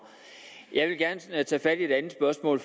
jeg vil gerne tage fat i et andet spørgsmål